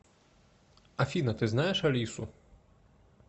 афина ты знаешь алису